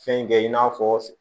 Fɛn kɛ in n'a fɔ